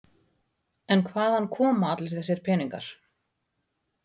En hvaðan koma allir þessir peningar?